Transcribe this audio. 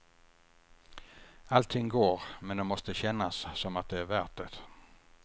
Allting går, men det måste kännas som att det är värt det.